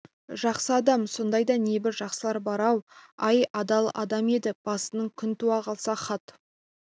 жақсы адам сондай да небір жақсылар бар-ау ай адал адам еді басыңа күн туа қалса хат